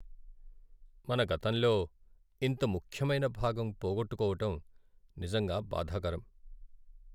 మన గతంలో ఇంత ముఖ్యమైన భాగం పోగొట్టుకోవటం నిజంగా బాధాకరం.